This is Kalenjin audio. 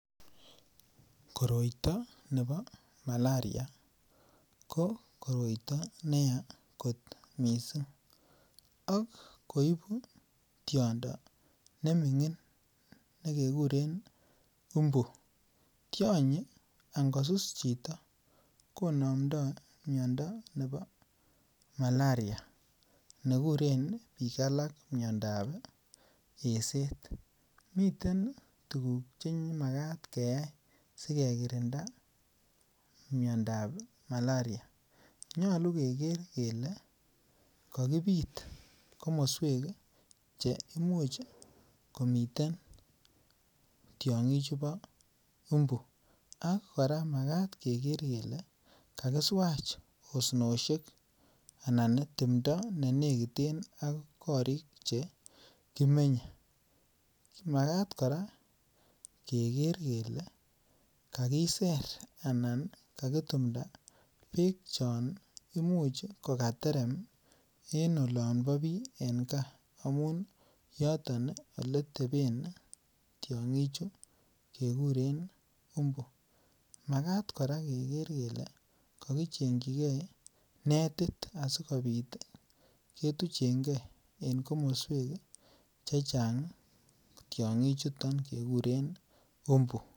Kotoito nebo malaria kokotoito neya kot missing' ok koibu tiondo nemingin nekekuren mbu tionyi angosus chito konomdo miondo nebo malaria nekuren bik alak miondab eset, miten tuguk chemakaat keyai sikekerinda miondab malaria, nyolu keker kele kokibit komoswek cheimuch komiten tiongichubo mbu ak koraa makaat kele kakiswach osnoshek anan timndo nenekiten ak korik chekimenyee, makaat koraa keker kele kakiser anan kakitumda beek chon imuch kokatetem en olombo bii en kaa amun yoton eleteben tiongichu kekuren mbu makaat koraa keker kele kokichenjigee netit asikobit ketuchengee en komoswek chechang tiongichuto kekuren mbu.